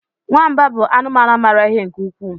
nwamba bụ anụmanụ maara ihe nke ukwuu